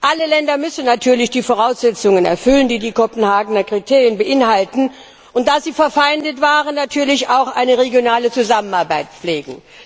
Alle Länder müssen natürlich die Voraussetzungen erfüllen, die die Kopenhagener Kriterien beinhalten, und, da sie verfeindet waren, natürlich auch eine regionale Zusammenarbeit pflegen.